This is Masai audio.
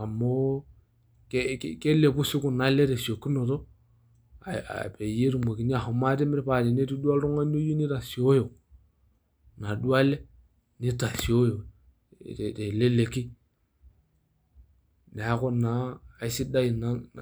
amu kelepu sii kuna ale tesiokinoto peyie etumokini ahom atimir paa tenetii duo oltungani oyieu nitasioyo inaduoo ale ,nitasioyo teleleki niaku naa aisidai ina.